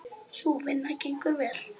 Sú vinna gengur vel.